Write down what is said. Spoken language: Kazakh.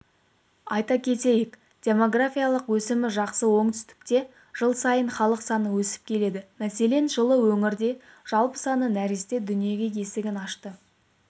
айта кетейік демографиялық өсімі жақсы оңтүстікте жыл сайын халық саны өсіп келеді мәселен жылы өңірде жалпы саны нәресте дүние есігін ашса